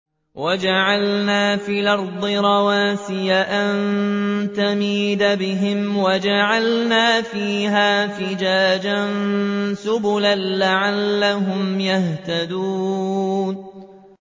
وَجَعَلْنَا فِي الْأَرْضِ رَوَاسِيَ أَن تَمِيدَ بِهِمْ وَجَعَلْنَا فِيهَا فِجَاجًا سُبُلًا لَّعَلَّهُمْ يَهْتَدُونَ